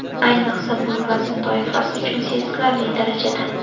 Ayniqsa bu vazn toifasi uchun sezilarli darajada.